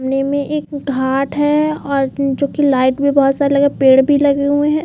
नीव में एक घाट है और जो की लाइट भी बहुत सारे लगी है और पेड़ भी बहुत सारे है।